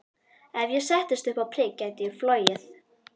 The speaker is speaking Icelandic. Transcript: Ef ég settist upp á prik gæti ég flogið.